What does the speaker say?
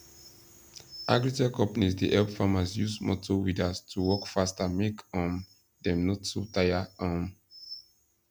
agritech companies dey help farmers use motor weeders to work faster make um dem no too tire um